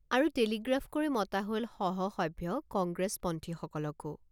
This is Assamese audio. আৰু টেলিগ্ৰাফ কৰি মতা হল সহসভ্য কংগ্ৰেছপন্থীসকলকো।